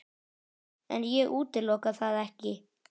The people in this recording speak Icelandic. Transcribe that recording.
En ég útiloka það ekki.